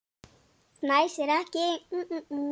Fnæsir ekki.